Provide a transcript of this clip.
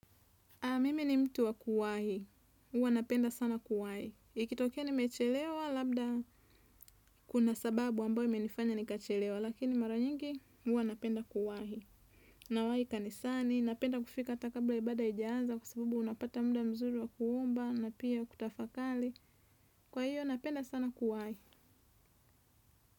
Mimi ni mtu wa kuwahi. Uwa napenda sana kuwahi. Ikitokia ni mechelewa, labda kuna sababu ambayo imenifanya nikachelewa. Lakini mara nyingi, huwa napenda kuwahi. Na wahi kanisani, napenda kufika hata kabla ibadahaijaanza. Kwasababu napata muda mzuri wa kuomba na pia kutafakari. Kwa hiyo, napenda sana kuwahi.